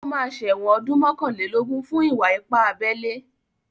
Ó máa ṣẹ̀wọ̀n ọdún mọ́kànlélógún fún ìwà ipá abẹ́lé.